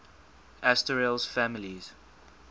asterales families